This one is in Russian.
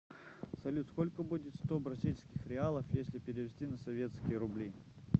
салют сколько будет сто бразильских реалов если перевести на советские рубли